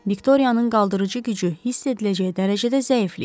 Viktoriyanın qaldırıcı gücü hiss ediləcək dərəcədə zəifliyib.